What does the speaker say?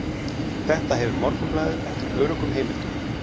Þetta hefur Morgunblaðið eftir öruggum heimildum